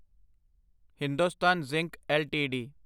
Hindustan Zinc LTD